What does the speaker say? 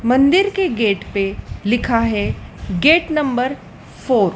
मंदिर के गेट पे लिखा है गेट नंबर फोर ।